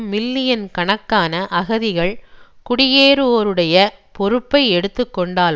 million கணக்கான அகதிகள் குடியேறுவோருடைய பொறுப்பை எடுத்து கொண்டால்